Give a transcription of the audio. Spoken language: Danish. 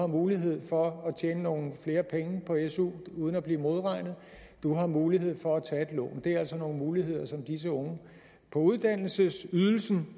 mulighed for at tjene nogle flere penge uden at blive modregnet og du har mulighed for at tage et lån det er altså nogle muligheder som disse unge på uddannelsesydelse